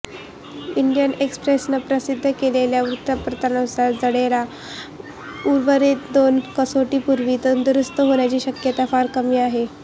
Indian एक्स्प्रेसनं प्रसिद्ध केलेल्या वृत्तानुसार जडेजा उर्वरित दोन कसोटींपूर्वी तंदुरुस्त होण्याची शक्यता फार कमी आहे